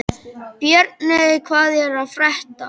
Björney, hvað er að frétta?